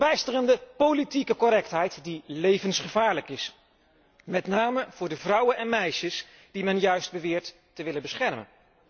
Een verbijsterende politieke correctheid, die levensgevaarlijk is, met name voor de vrouwen en meisjes die men juist beweert te willen beschermen.